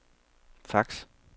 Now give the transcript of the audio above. fax